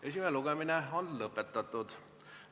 Esimene lugemine on lõppenud.